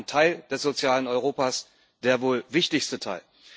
Das ist ein Teil des sozialen Europas der wohl wichtigste Teil.